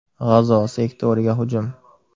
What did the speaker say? G‘azo sektoriga hujum.